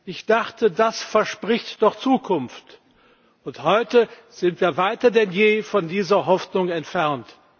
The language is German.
Ich dachte, das verspricht doch Zukunft. Und heute sind wir weiter denn je von dieser Hoffnung entfernt.